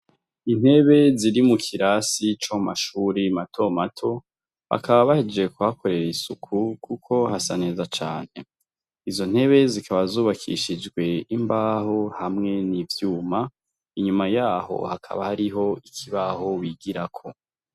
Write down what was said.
Intebe ziri mu kirasi zo mu mashure matomato bakaba bahejeje kuhakorera isuku kuko hasa neza cane. Izo ntebe zikaba zubakishijwe imbaho hamwe n'ivyuma. Inyuma yaho hakaba hariho ikibaho bigirako.